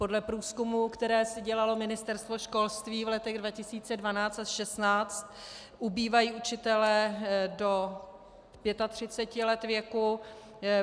Podle průzkumů, které si dělalo Ministerstvo školství v letech 2012 až 2016, ubývají učitelé do 35 let věku.